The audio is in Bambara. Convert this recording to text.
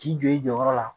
K'i jɔ i jɔyɔrɔ la